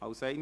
– Nein.